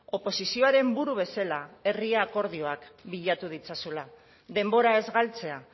oposizioaren buru bezala herri akordioak bilatu ditzazula denbora ez galtzea